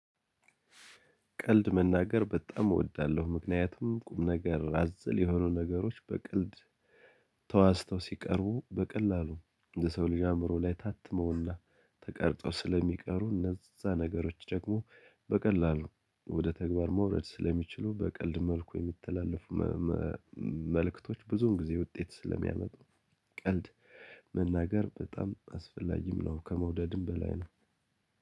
ቀልድ መናገር በጣም እወዳለሁ ምክንያቱም ቁም ነገር አዘል የሆኑ ነገሮች በቀልድ ተዋዝተው ሲቀርቡ በቀላሉ የሰው ልጅ አእምሮ ላይ ታትመውና ተቀርጠው ስለሚቀሩ እነዛ ነገሮች ደግሞ በቀላሉ ወደ ተግባር መውረድ ስለሚችሉ በቀልድ መልኩ የሚተላለፉ መልእክቶች ብዙን ጊዜ ውጤት ስለሚያመጡ ቀልድ መናገር በጣም አስፈላጊም ነው ከመውደድም በላይ ነው።